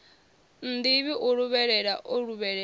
nnḓivhi a luvhelela o luvhelela